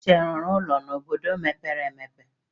Uche ọ rụrụ ụlọ n'obodo mepere emepe?